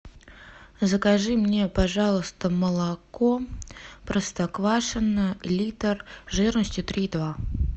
закажи мне пожалуйста молоко простоквашино литр жирностью три и два